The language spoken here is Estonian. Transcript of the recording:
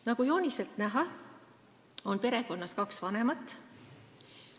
Nagu jooniselt näha, on selles perekonnas kaks vanemat.